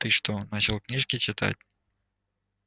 ты что начал книжки читать